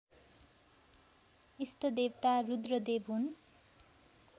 इष्टदेवता रुद्रदेव हुन्